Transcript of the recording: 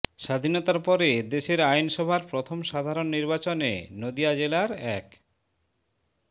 স্বাধীনতার পরে দেশের আইনসভার প্রথম সাধারণ নির্বাচনে নদিয়া জেলার এক